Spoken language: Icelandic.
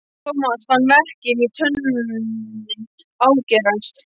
Thomas fann verkinn í tönninni ágerast.